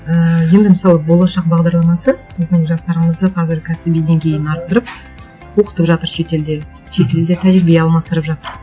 ііі енді мысалы болашақ бағдарламасы біздің жастарымызды қазір кәсіби деңгейін арттырып оқытып жатыр шетелде шетелде тәжірибе алмастырып жатыр